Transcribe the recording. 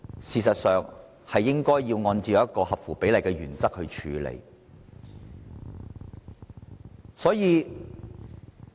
事實上，這方面應按照合乎比例的原則處理。